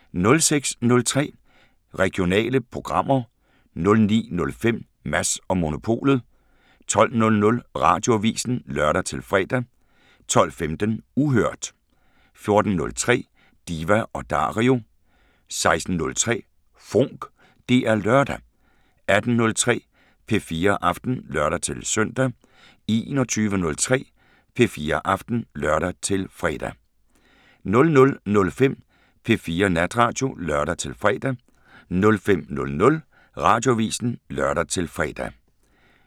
06:03: Regionale programmer 09:05: Mads & Monopolet 12:00: Radioavisen (lør-fre) 12:15: Uhørt 14:03: Diva & Dario 16:03: FONK! Det er lørdag 18:03: P4 Aften (lør-søn) 21:03: P4 Aften (lør-fre) 00:05: P4 Natradio (lør-fre) 05:00: Radioavisen (lør-fre)